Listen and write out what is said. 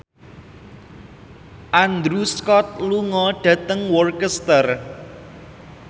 Andrew Scott lunga dhateng Worcester